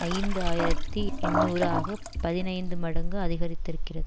ஐந்து ஆயிரத்தி எண்ணூறு ஆக பதினைந்து மடங்கு அதிகரித்திருக்கிறது